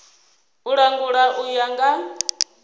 u langula u ya nga